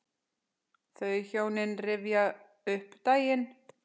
Þau hjón rifja upp daginn.